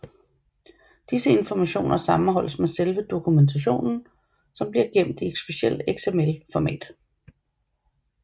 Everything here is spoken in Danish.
Disse informationer sammenholdes med selve dokumentationen som bliver gemt i et specielt XML format